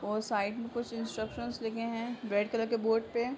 और साइड में कुछ इंस्ट्रक्शन लिखे हैं रेड कलर के बोर्ड पे।